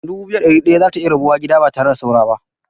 Dubu biyu da ɗari ɗaya za ta iya rabuwa gida ba tare da saura ba.